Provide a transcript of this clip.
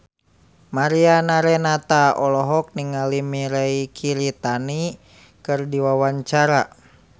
Mariana Renata olohok ningali Mirei Kiritani keur diwawancara